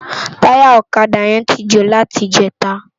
Tàyá òkadá yèn ti jó láti ijètá